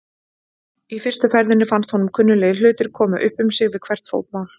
Í fyrstu ferðinni fannst honum kunnuglegir hlutir koma upp um sig við hvert fótmál.